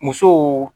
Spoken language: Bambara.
Musow